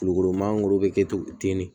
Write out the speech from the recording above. Kulukoro mangoro bɛ kɛ cogo ten de